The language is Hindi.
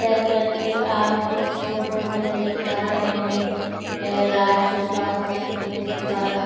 जैसा कि आप इस फोटो में देख पा रहै हैं यह राज स्वास्थ समिति द्वारा--